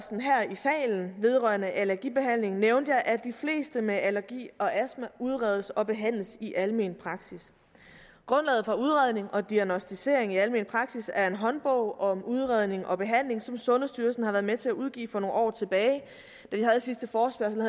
i salen vedrørende allergibehandling nævnte jeg at de fleste med allergi og astma udredes og behandles i almen praksis grundlaget for udredning og diagnosticering i almen praksis er en håndbog om udredning og behandling som sundhedsstyrelsen har været med til at udgive for nogle år tilbage da vi havde sidste forespørgsel